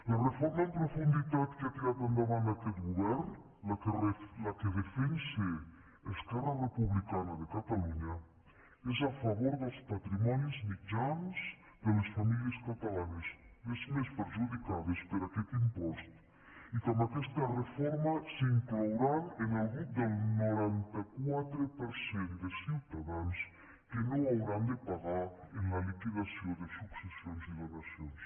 la reforma en profunditat que ha tirat endavant aquest govern la que defensa esquerra republicana de catalunya és a favor dels patrimonis mitjans de les famílies catalanes les més perjudicades per aquest impost i que amb aquesta reforma s’inclouran en el grup del noranta quatre per cent de ciutadans que no hauran de pagar en la liquidació de successions i donacions